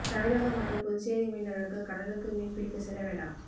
தமிழகம் மற்றும் புதுச்சேரி மீனவர்கள் கடலுக்கு மீன் பிடிக்க செல்ல வேண்டாம்